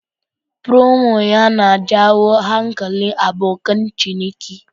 Promo yana jawo hankalin abokan ciniki.